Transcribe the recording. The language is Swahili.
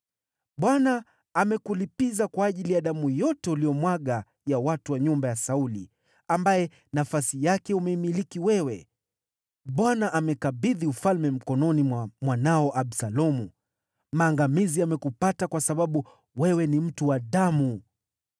Bwana amekulipiza kwa ajili ya damu yote uliyomwaga ya watu wa nyumba ya Sauli, ambaye nafasi yake umeimiliki wewe. Bwana amekabidhi ufalme mkononi mwa mwanao Absalomu. Maangamizi yamekupata kwa sababu wewe ni mtu wa damu!”